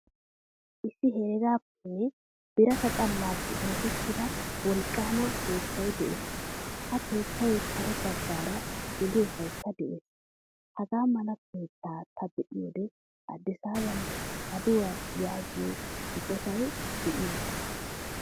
Issi heregappene birata xalaappe oosettida wolqqama keettay de'ees. Ha keettay kare baggaara geliyosaykka de'ees. Hagaa mala keettaa ta be'idoy Addisaban aduwaa yaagiyo eqqotay deiyosana.